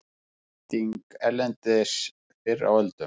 Nýting erlendis fyrr á öldum